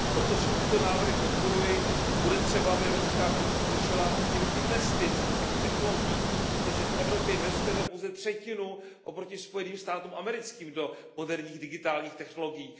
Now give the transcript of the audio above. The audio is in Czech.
Proto všechny tyto návrhy podporuji, bude třeba, aby Evropská komise řešila míru investic do těchto technologií, protože v Evropě investujeme pouze třetinu oproti Spojeným státům americkým do moderních digitálních technologií.